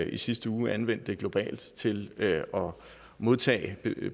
i sidste uge anvendte det globalt til at modtage